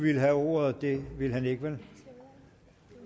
vil have ordet det vil han ikke vel